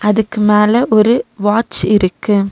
இதுக்கு மேல ஒரு வாட்ச் இருக்கு.